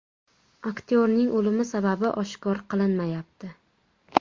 Aktyorning o‘limi sababi oshkor qilinmayapti.